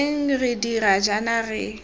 teng re dira jaana re